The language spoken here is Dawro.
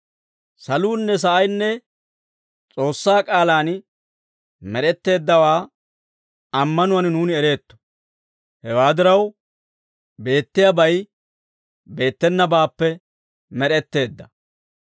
Saluunne sa'aynne S'oossaa k'aalaan med'etteeddawaa ammanuwaan nuuni ereetto; hewaa diraw, beettiyaabay beettenabaappe med'etteedda.